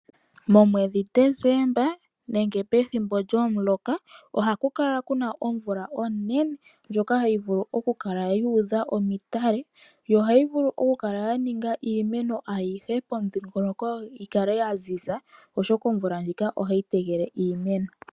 Momwedhi Desemba nenge pethimbo lyomuloka oha kukala kuna omvula onene ndjoka hayivulu okukala yudha omadhiya yo ohayi vulu okukala yaninga iimeno ayihe pomudhingoloko yikale yanzinza oshoka omvula ndjika ohayi tekele iimeno.